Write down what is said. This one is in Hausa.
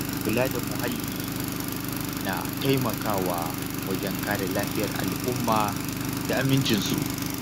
Kula da muhalli na taimakawa wajen kare lafiyar al’umma da amincinsu.